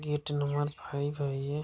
gate number five है ये --